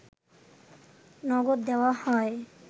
নগদ দেওয়া হয়